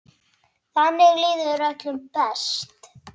Þannig líður öllum best.